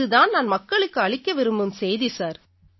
இது தான் மக்களுக்கு நான் அளிக்க விரும்பும் செய்தி சார்